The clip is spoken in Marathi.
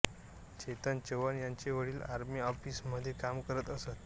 चेतन चौहान यांचे वडील आर्मी ऑफिसमध्ये काम करत असत